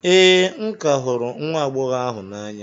ee, m ka hụrụ nwa agbọghọ ahụ n'anya